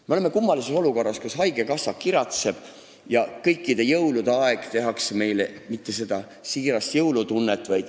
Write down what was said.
Me oleme kummalises olukorras, kus haigekassa kiratseb, aga meis ei tekitata jõulude ajal seda siirast jõulutunnet.